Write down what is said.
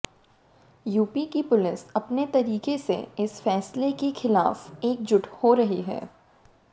UP की police अपने तरीके से इस फैसले के खिलाफ एकजुट हो रही है